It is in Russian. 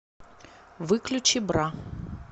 выключи бра